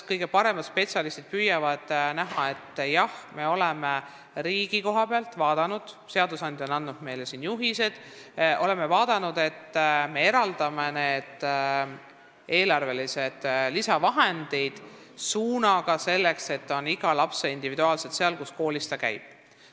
Kõige paremad spetsialistid püüavad otsustada, seadusandja on andnud meile juhiseid ja me oleme riigi poole pealt vaadanud, kuidas eraldada eelarvelisi lisavahendeid nii, et need läheks individuaalselt igale lapsele just sinna, kus koolis ta käib.